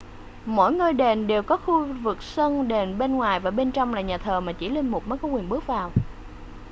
mỗi ngôi đền đều có khu vực sân đền bên ngoài và bên trong là nhà thờ mà chỉ linh mục mới có quyền bước vào